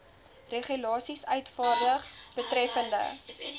regulasies uitvaardig betreffende